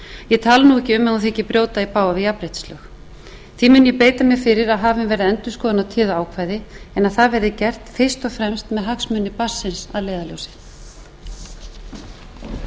ég tala nú ekki um ef hún þykir brjóta í bága við jafnréttislög því mun ég beita mér fyrir að hafin verði endurskoðun á téðu ákvæði en að það verði gert fyrst og fremst með hagsmuni barnsins að leiðarljósi